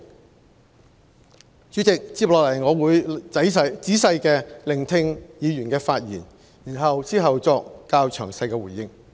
代理主席，接下來我會細心聆聽議員的發言，然後作較詳細回應。